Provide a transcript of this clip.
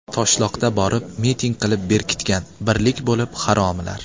Toshloqdan borib, miting qilib berkitgan, birlik bo‘lib, haromilar.